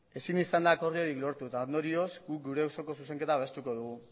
ezin izan da akordiorik lortu eta ondorioz guk gure osoko zuzenketa berrestuko dugu